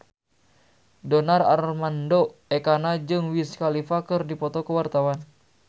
Donar Armando Ekana jeung Wiz Khalifa keur dipoto ku wartawan